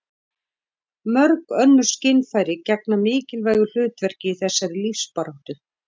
mörg önnur skynfæri gegna mikilvægu hlutverki í þessari lífsbaráttu